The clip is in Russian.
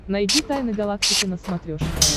найди тайны галактики на смотрешке